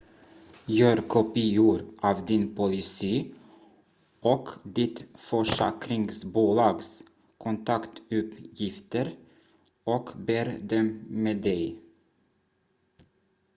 gör kopior av din policy och ditt försäkringsbolags kontaktuppgifter och bär dem med dig